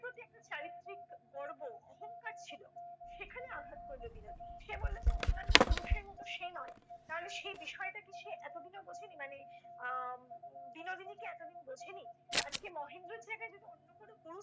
একটা চারিত্রিক গর্ব অহঙ্কার ছিল। সেখানে আঘাত করল বিনোদিনীর। সে বলল যে অন্যান্য পুরুষের মত সে নয়। তাহলে সে বিষয়টা কি সে এত দিনেও বুঝেনি? মানে আহ বিনোদিনী কি এত দিন বোঝেনি? আজকে মহেন্দ্রর জায়গায় যদি অন্য কোনো পুরুষ